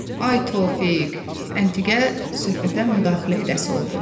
Ay Tofiq, Əntiqə söhbətə müdaxilə edəsi oldu.